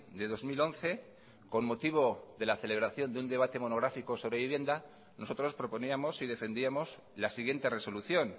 de dos mil once con motivo de la celebración de un debate monográfico sobre vivienda nosotros proponíamos y defendíamos la siguiente resolución